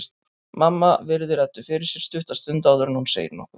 Mamma virðir Eddu fyrir sér stutta stund áður en hún segir nokkuð.